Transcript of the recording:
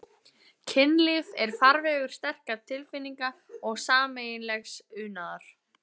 Kynlíf er farvegur sterkra tilfinninga og sameiginlegs unaðar.